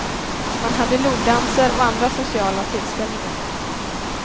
Man hade logdanser och andra sociala tillställningar.